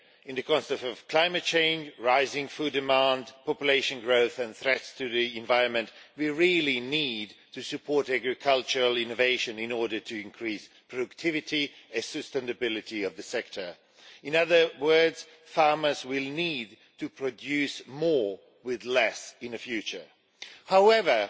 In the context of climate change, rising food demand, population growth and threats to the environment, we really need to support agricultural innovation in order to increase the productivity and sustainability of the sector. In other words, farmers will need to produce more with less in the future. However,